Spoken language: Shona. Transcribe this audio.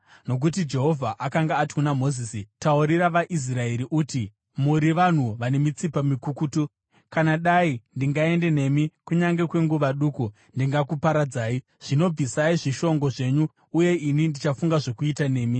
Nokuti Jehovha akanga ati kuna Mozisi, “Taurira vaIsraeri uti, ‘Muri vanhu vane mitsipa mikukutu. Kana dai ndingaende nemi kunyange kwenguva duku, ndingakuparadzai. Zvino bvisai zvishongo zvenyu uye ini ndichafunga zvokuita nemi.’ ”